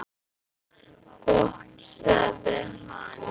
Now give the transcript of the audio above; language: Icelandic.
Gott sagði hann.